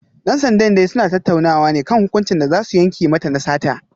Dan sandan dai suna tattaunawa ne kan hukuncin da za su yanke mata na sata